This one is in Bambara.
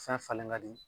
Fɛn falen ka di